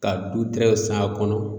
Ka du tɛrɛnw san a kɔnɔ